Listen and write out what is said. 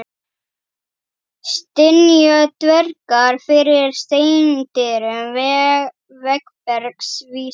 Stynja dvergar fyrir steindyrum, veggbergs vísir.